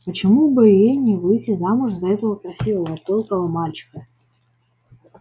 почему бы ей не выйти замуж за этого красивого пылкого мальчика